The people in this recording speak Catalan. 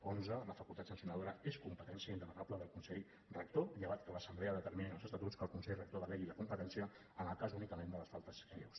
onze la facultat sancionadora és competència indelegable del consell rector llevat que l’assemblea determini en els estatuts que el consell rector delegui la competència en el cas únicament de les faltes lleus